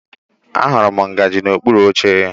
Ahụrụ m ngaji n'okpuru oche